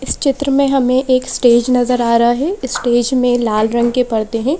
इस चित्र में हमें एक स्टेज नजर आ रहा है स्टेज में लाल रंग के पर्दे हैं।